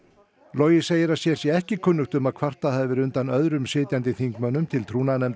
logi segir að sér sé ekki kunnugt um að kvartað hafi verið undan öðrum sitjandi þingmönnum til